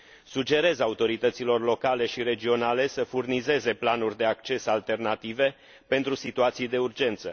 Sugerez autorităților locale și regionale să furnizeze planuri de acces alternative, pentru situații de urgență.